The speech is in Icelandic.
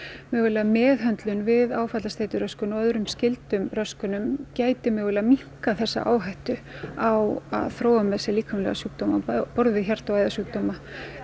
mögulega meðhöndlun við áfallastreituröskun og öðrum skyldum röskunum gæti mögulega minnkað þessa áhættu á að þróa með sér líkamlega sjúkdóma á borð við hjarta og æðasjúkdóma